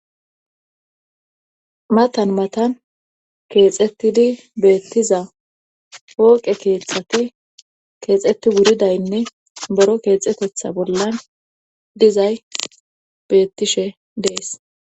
Matan matan keexettidi beettiza hooqe keexati keexeti wuridaynne boro keexetetha bollan dizay beettishe dees